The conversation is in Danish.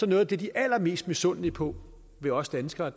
at noget af det de er allermest misundelige på ved os danskere